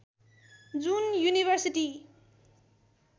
जुन युनिभर्सिटी